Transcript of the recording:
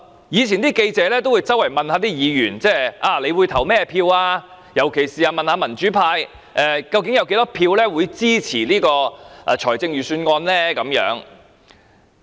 以往記者會四處問議員如何表決，特別是問民主派議員究竟會有多少票支持預算案。